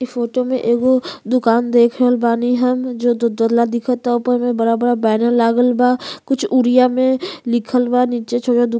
इ फोटो में एगो दुकान देख रहल बानी हम जो दो तला दिखता ऊपर में बड़ा-बड़ा बैनर लागल बा। कुछ उड़िया में लिखल बा। नीचे छोटा दुकान --